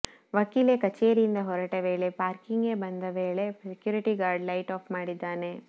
ವಕೀಲೆ ಕಚೇರಿಯಿಂದ ಹೊರಟ ವೇಳೆ ಪಾರ್ಕಿಂಗ್ಗೆ ಬಂದ ವೇಳೆ ಸೆಕ್ಯೂರಿಟಿ ಗಾರ್ಡ್ ಲೈಟ್ ಆಫ್ ಮಾಡಿದ್ದಾನೆ